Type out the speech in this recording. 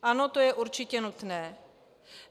Ano, to je určitě nutné.